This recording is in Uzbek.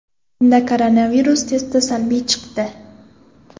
Unda koronavirus testi salbiy chiqdi.